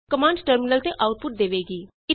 command terminal ਤੇ output ਦੇਵੇਗੀ